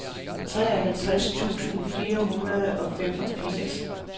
treoghalvtreds tusind fire hundrede og femogfirs